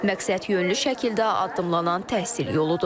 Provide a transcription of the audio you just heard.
Məqsədyönlü şəkildə addımlanan təhsil yoludur.